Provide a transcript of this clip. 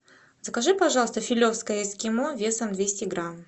закажи пожалуйста филевское эскимо весом двести грамм